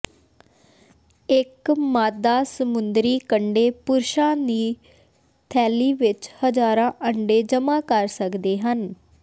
ਇੱਕ ਮਾਦਾ ਸਮੁੰਦਰੀ ਕੰਢੇ ਪੁਰਸ਼ਾਂ ਦੀ ਥੈਲੀ ਵਿੱਚ ਹਜ਼ਾਰਾਂ ਅੰਡੇ ਜਮ੍ਹਾ ਕਰ ਸਕਦੇ ਹਨ